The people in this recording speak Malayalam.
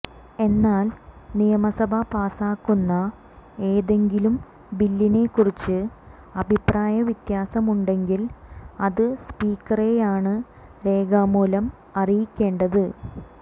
എന്നാൽ നിയമസഭ പാസാക്കുന്ന ഏതെങ്കിലും ബില്ലിനെ കുറിച്ച് അഭിപ്രായ വ്യത്യാസമുണ്ടെങ്കിൽ അത് സ്പീക്കറെയാണ് രേഖാമൂലം അറിയിക്കേണ്ടത്